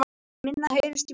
Minna heyrist í Víkingum